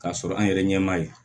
K'a sɔrɔ an yɛrɛ ɲɛ m'a ye